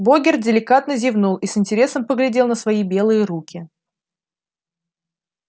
богерт деликатно зевнул и с интересом поглядел на свои белые руки